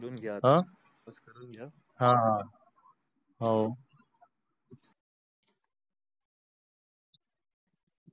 हो